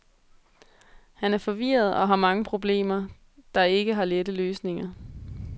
Han er forvirret og har mange problemer, der ikke har lette løsninger.